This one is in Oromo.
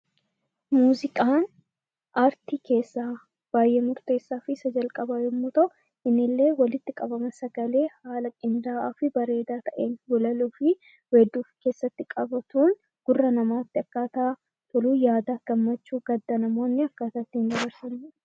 Muuziqaan aartii keessaa baay'ee murteessaa fi isa jalqabaa yommuu ta'u, kunillee walitti qabama sagalee haala qindaa'aa fi bareedaa ta'een, walaloo fi weedduu of keessatti qabatuun gurra namaatti akkaataa toluun, yaada gsmmachuu, gadda namoonni akkaataa ittiin dabarsani dha.